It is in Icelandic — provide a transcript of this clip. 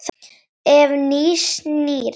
Ef. nýs- nýrra